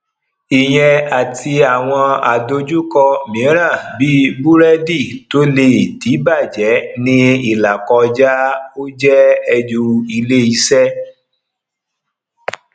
ìyẹn àti àwọn àdojúko míràn bí burẹdi to le dibajẹ ní ilakoja o jẹ ẹrù ilé iṣẹ